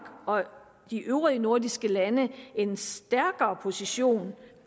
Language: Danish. og de øvrige nordiske lande en stærkere position